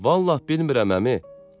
Vallah bilmirəm əmi.